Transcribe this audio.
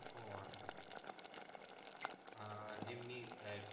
ও আচ্ছা আহ এমনি